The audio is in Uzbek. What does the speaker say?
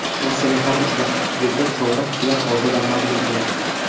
Rossiyaning har uchala klubi chorak final oldidan mag‘lub bo‘ldi.